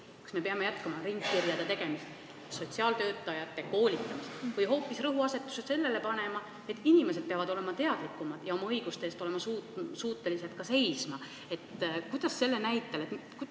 Kas me peame jätkama ringkirjade tegemist ja sotsiaaltöötajate koolitamist või hoopis rõhuasetuse sellele panema, et inimesed peavad olema teadlikumad ja suutma oma õiguste eest seista?